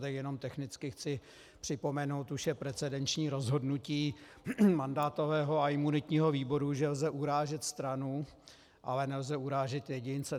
Tak jenom technicky chci připomenout - už je precedenční rozhodnutí mandátového a imunitního výboru, že lze urážet stranu, ale nelze urážet jedince.